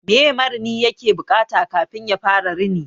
Meye marini yake buƙata kafin yafara rini?